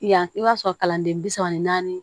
Yan i b'a sɔrɔ kalanden bi saba ni naani